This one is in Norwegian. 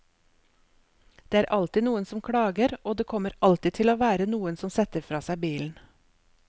Det er alltid noen som klager, og det kommer alltid til å være noen som setter fra seg bilen.